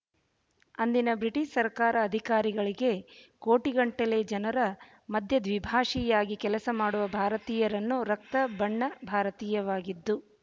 ಅಂದಿನ ಬ್ರಿಟಿಷ ಸರಕಾರ ಅಧಿಕಾರಿಗಳಿಗೆ ಕೋಟಿಗಟ್ಟಲೇ ಜನರ ಮಧ್ಯ ದ್ವಿಭಾಶಿಯಾಗಿ ಕೆಲಸಮಾಡುವ ಭಾರತೀಯರನ್ನು ರಕ್ತ ಬಣ್ಣ ಭಾರತೀಯವಾಗಿದ್ದು